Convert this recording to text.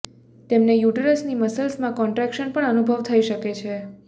તેમને યુટેરસની મસલ્સમાં કોન્ટ્રેક્શન પણ અનુભવ થઇ શકે છે